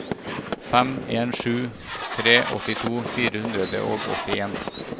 fem en sju tre åttito fire hundre og åttien